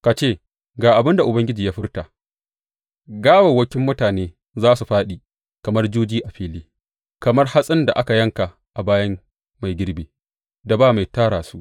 Ka ce, Ga abin da Ubangiji ya furta, Gawawwakin mutane za su fāɗi kamar juji a fili, kamar hatsin da aka yanka a bayan mai girbi, da ba mai tara su.’